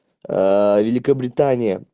великобритания